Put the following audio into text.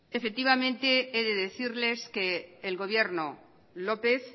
he de decirles que elgobierno lópez